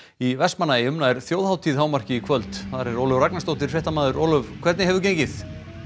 í Vestmannaeyjum nær þjóðhátíð hámarki í kvöld þar er Ólöf Ragnarsdóttir fréttamaður Ólöf hvernig hefur gengið